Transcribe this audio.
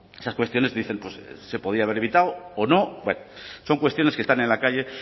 esas cuestiones dicen se podía haber evitado o no son cuestiones que están en la calle